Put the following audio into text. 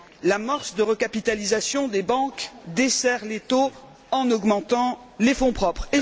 L'amorce de recapitalisation des banques desserre l'étau en augmentant les fonds propres.